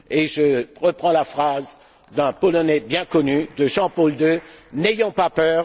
Je reprends la phrase d'un Polonais bien connu, de Jean Paul II N'ayons pas peur!.